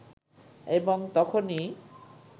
এবং তখনই